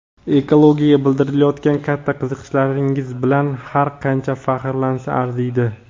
ekologiyaga bildirayotgan katta qiziqishlaringiz bilan har qancha faxrlansa arziydi!.